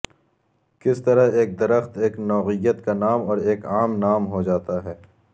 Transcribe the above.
کس طرح ایک درخت ایک نوعیت کا نام اور ایک عام نام ہو جاتا ہے